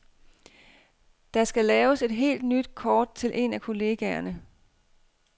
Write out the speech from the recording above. Der skal laves et helt nyt kort til en af kollegaerne.